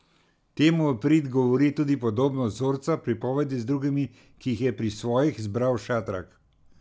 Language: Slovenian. Temu v prid govori tudi podobnost vzorca pripovedi z drugimi, ki jih je pri svojih zbral Šatrak.